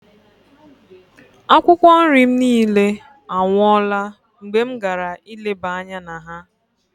Akwụkwọ nri m niile anwụọla mgbe m gara ileba anya na ha.